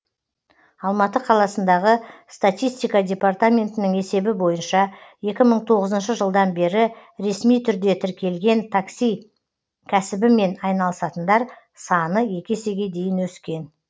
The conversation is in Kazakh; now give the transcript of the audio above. алматы қаласындағы статистика департаментінің есебі бойынша екі мың тоғызыншы жылдан бері ресми түрде тіркелген такси кәсібімен айналысатындар саны екі есеге дейін өскен